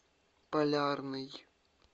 полярный